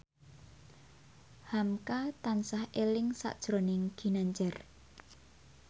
hamka tansah eling sakjroning Ginanjar